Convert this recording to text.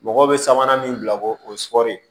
Mɔgɔw bɛ sabanan min bila ko o sɔri